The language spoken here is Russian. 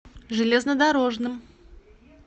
железнодорожным